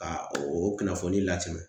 Ka o o kunnafoni latɛmɛ .